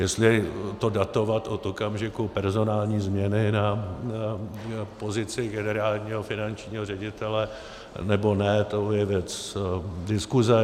Jestli to datovat od okamžiku personální změny na pozici generálního finančního ředitele, nebo ne, to je věc diskuze.